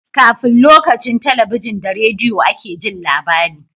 Kafin lokacin talabijin da rediyo a ke Jin labari